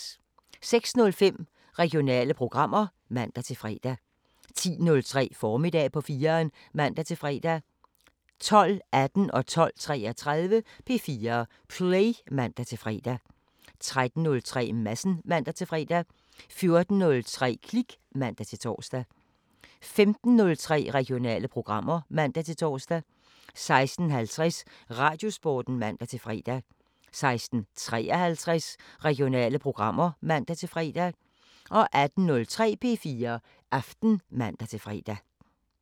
06:05: Regionale programmer (man-fre) 10:03: Formiddag på 4'eren (man-fre) 12:18: P4 Play (man-fre) 12:33: P4 Play (man-fre) 13:03: Madsen (man-fre) 14:03: Klik (man-tor) 15:03: Regionale programmer (man-tor) 16:50: Radiosporten (man-fre) 16:53: Regionale programmer (man-fre) 18:03: P4 Aften (man-fre)